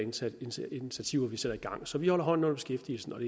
initiativer vi sætter i gang så vi holder hånden under beskæftigelsen og